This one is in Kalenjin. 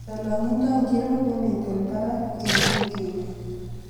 Lolongindo ngiro nemiten parak wiikini